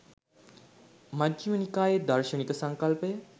මජ්ඣිම නිකායේ දාර්ශනික සංකල්පය